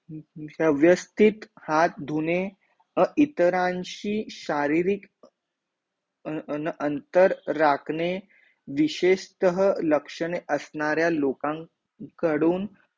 व्यवस्थित हाथ धुणे अ इतरांशी शारीरिक, अन अन अंतर राखणे, विशेषतः लक्षणे असणाऱ्या लोकांकडून